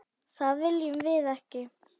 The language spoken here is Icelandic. Það viljum við ekki!